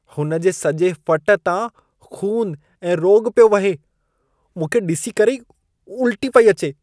हुन जे सॼे फ़ट तां खून ऐं रोॻ पियो वहे। मूंखे ॾिसी करे ई उल्टी पई अचे।